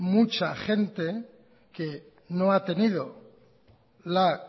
mucha gente que no ha tenido la